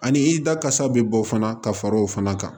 Ani i dakasa bɛ bɔ fana ka far'o fana kan